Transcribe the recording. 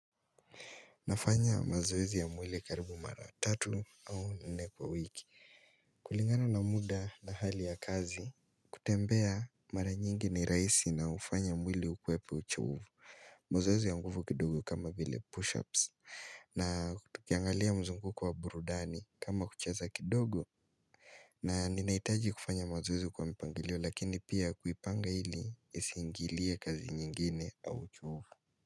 Nafanya mazoezi ya mwili karibu mara tatu au nene kwa wiki kulingana na muda na hali ya kazi kutembea mara nyingi ni rahisi na hufanya mwili ukwepe uchovu mazoezi ya mguvu kidogo kama vile push-ups Natukiangalia mzunguko wa burudani kama kucheza kidogo na ninaitaji kufanya mazoezi kwa mpangilio lakini pia kuipanga ili isiingilie kazi nyingine au uchovu.